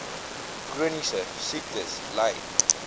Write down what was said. chroniese siektes ly